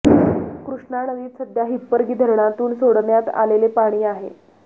कृष्णा नदीत सध्या हिप्परगी धरणातून सोडण्यात आलेले पाणी आहे